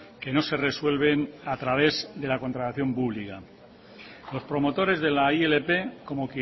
que no se resuelven a través de la contratación pública los promotores de la ilp como